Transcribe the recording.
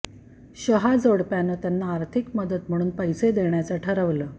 शहा जोडप्यानं त्यांना आर्थिक मदत म्हणून पैसे देण्याचं ठरवलं